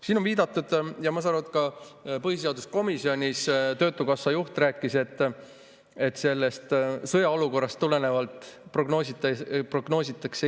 Siin on viidatud ja ma saan aru, et ka põhiseaduskomisjonis töötukassa juht rääkis sellest, sõjaolukorrast tulenevalt Eestis prognoositakse.